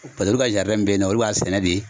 Paseke olu ka min bɛyinɔ olu b'a sɛnɛ de.